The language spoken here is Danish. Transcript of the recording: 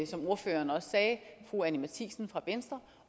som ordføreren også sagde fru anni matthiesen fra venstre